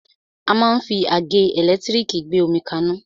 A máa ń fi àgẹ́ ẹ̀lẹ́tírìkì gbé omi kaná.